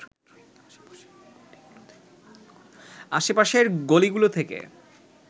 আশে পাশের গলিগুলো থেকে